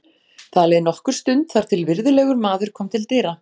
Það leið nokkur stund þar til virðulegur maður kom til dyra.